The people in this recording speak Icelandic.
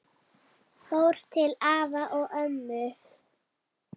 Fór til afa og ömmu.